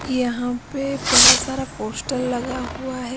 यहां पे बहुत सारा पोस्टल लगा है।